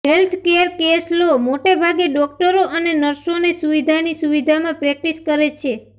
healthcare case લો મોટે ભાગે ડોકટરો અને નર્સોને સુવિધાની સુવિધામાં પ્રેક્ટીસ કરે છે